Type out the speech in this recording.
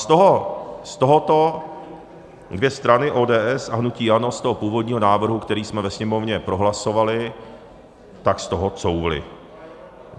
Z tohoto dvě strany, ODS a hnutí ANO, z toho původního návrhu, který jsme ve Sněmovně prohlasovali, tak z toho couvly.